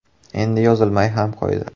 Endi yozilmay ham qo‘ydi.